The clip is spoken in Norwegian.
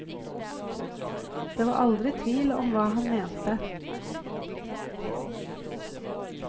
Det var aldri tvil om hva han mente.